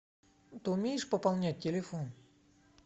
ты умеешь пополнять телефон